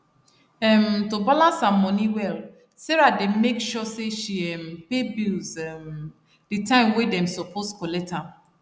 um to balance her money well sarah dey make sure say she um pay bills um the time wey dem suppose collect am